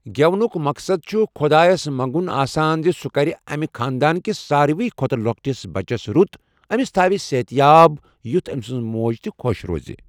گیٮ۪ونُک مقصد چُھ خۄدایس منٛگُن آسان زِ سُہ کَرِ اَمہِ خانٛدان کِس سارِوٕے کھۄتہٕ لۄکٹِس بَچس رُت، أمِس تھاوِ صحت یاب یُتھ امہِ سٕنٛز موج تہٕ خۄش روزِ۔